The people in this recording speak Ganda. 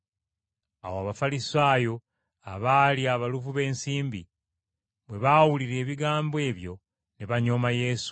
Awo Abafalisaayo, abaali abaluvu b’ensimbi, bwe baawulira ebigambo ebyo ne banyooma Yesu.